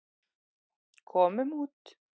Komum út.